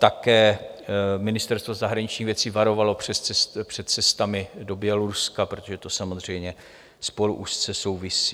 Také Ministerstvo zahraničních věcí varovalo před cestami do Běloruska, protože to samozřejmě spolu úzce souvisí.